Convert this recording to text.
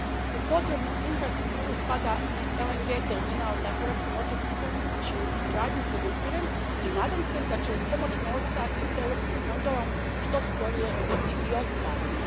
U potrebnu infrastrukturu spada i LNG terminal na hrvatskom otoku Krku, čiju izgradnju podupirem i nadam se da će uz pomoć novca iz europskih fondova što skorije biti i ostvarena.